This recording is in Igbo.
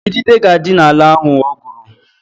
Idide ga-adị n'ala ahụ o gwuru